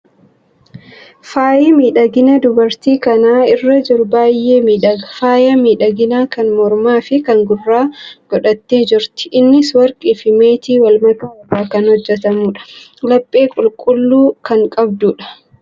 Faayyi miidhaginaa dubartii kana irra jiru baay'ee miidhaga! Faaya miidhaginaa kan mormaa fi kan gurraa gidhattee jirti. Innis warqii fi meetii wal makaa irraa kan hojjetamudha. Laphee qulqulluu kan qabdudha.